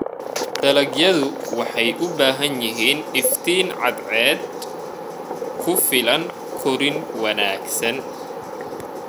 Dalagyadu waxay u baahan yihiin iftiin cadceed ku filan korriin wanaagsan.